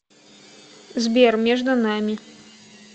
сбер между нами